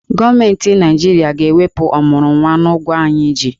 Gọọmenti Naijiria ga-ewepụ ọmụrụnwa n'ụgwọ anyị ji.